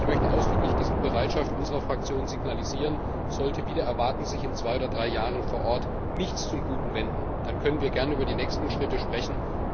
Und ich möchte ausdrücklich die Bereitschaft unserer Fraktion signalisieren Sollte sich wider Erwarten in zwei oder drei Jahren vor Ort nichts zum Guten wenden, dann können wir gern über die nächsten Schritte sprechen.